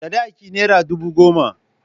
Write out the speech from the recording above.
Sadaki naira ɗubu goma.